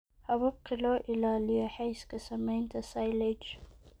Hababka loo ilaaliyo Hayska Samaynta Silage